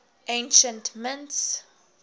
ancient mints